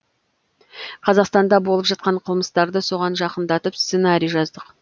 қазақстанда болып жатқан қылмыстарды соған жақындатып сценарий жаздық